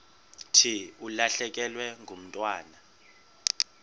thi ulahlekelwe ngumntwana